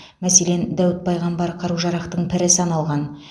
мәселен дәуіт пайғамбар қару жарақтың пірі саналған